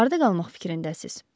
Harda qalmaq fikrindəsiz?